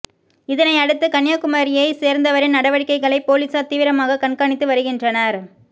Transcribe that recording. இதனையடுத்து கன்னியாகுமரியைச் சேர்ந்தவரின் நடவடிக்கைகளை போலீசார் தீவிரமாக கண்காணித்து வருகின்றனர்